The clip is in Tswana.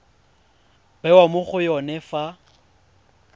bewa mo go yone fa